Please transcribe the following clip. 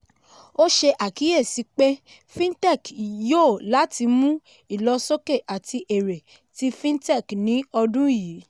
ó ṣe àkíyèsí pé fintech yòò láti mú ìlọsókè àti èré tí fintech ní ọdún yìí.